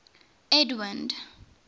edwind